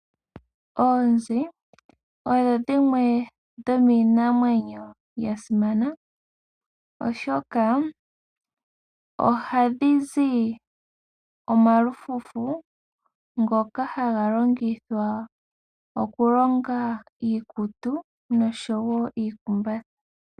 Oonzi odho dhimwe dhomiinamwenyo ya simana, oshoka ohadhi zi omalufufu ngoka haga longithwa oku longa iikutu noshowo iikumbatha.